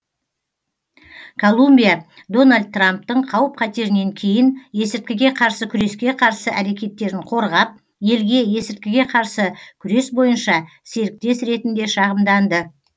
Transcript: колумбия дональд трамптың қауіп қатерінен кейін есірткіге қарсы күреске қарсы әрекеттерін қорғап елге есірткіге қарсы күрес бойынша серіктес ретінде шағымданды